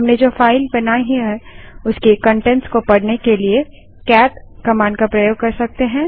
हमने जो फाइल बनाई है उसके कंटेंट्स को पढ़ने के लिए कैट कमांड का प्रयोग कर सकते हैं